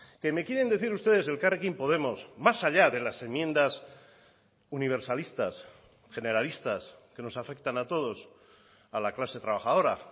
que me quieren decir ustedes elkarrekin podemos más allá de las enmiendas universalistas generalistas que nos afectan a todos a la clase trabajadora